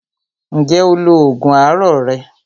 Ǹjẹ́ o lo oògùn àárọ̀ rẹ?